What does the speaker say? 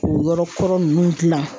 K'o yɔrɔ kɔrɔ ninnu dilan.